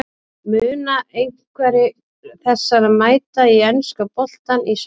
Munu einhverjir þessara mæta í enska boltann í sumar?